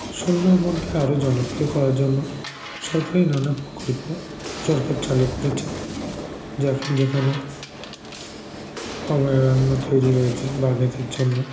সুন্দরবনকে আরও জনপ্রিয় করার জন্য সরকারি নানা প্রকল্প সরকার চালু করেছে যার যেখানে অভয়ারণ্য তৈরি হয়েছে বাঘেদের জন্য